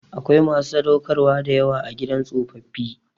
Akwai masu sadaukarwa da yawa a gidan tsofaffi.